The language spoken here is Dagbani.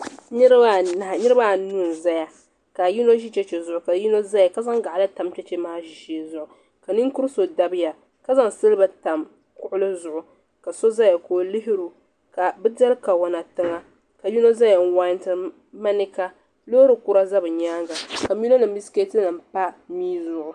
Niriba aniɛ n ƶaya ka yino ƶi chɛchɛ ƶʋgʋ ka yino ƶiɛya ka ƶanŋ gaɣali tam chɛchɛ maa ƶʋgʋ ka ninkruru so dabya ka ƶanŋ silba tam kugli ƶugu ka so ƶaya ka o lihiro ka bɛ dɛli kawana tiŋa ka yino n ƶiɛya n wantɛri manɛka ka lorry kura ƶa benyaga ka milo nim mini biskɛti nim pa dɛƶuŋu.